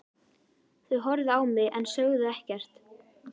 Þau horfðu á mig en sögðu ekkert.